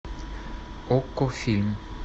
окко фильм